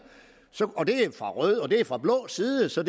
og det er fra rød og det er fra blå side så